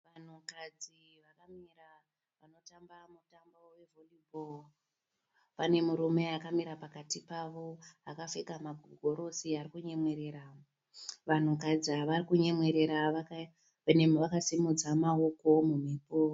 Vanhukadzi vakamira vanotamba mutambo wevhurubhoo. Pane murume akamira pakati pavo akapfeka magogorosi arikunyenwerera. Vanhukadzi ava varikunyemwerera vakasimudza maoko mumhepo.